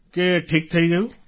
કે ઠીક થઈ ગયું